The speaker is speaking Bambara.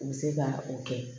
U bɛ se ka o kɛ